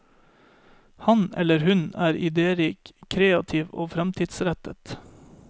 Han eller hun er idérik, kreativ og fremtidsrettet.